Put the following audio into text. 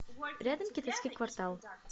рядом китайский квартал